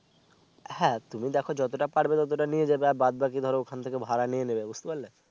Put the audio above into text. হ্যাঁ তুমি দেখো যত টা পারবে তত টা নিয়ে যাবে আর বাদ বাকি ধরো ওখান থেকে ভাড়া নিয়ে নিবে বুঝতে পারলে